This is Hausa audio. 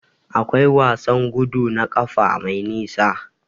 Akwai wasan gudu na ƙafa mai nisa.